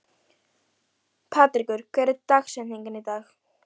Patrekur, hver er dagsetningin í dag?